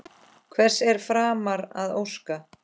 Hvers er framar að óska?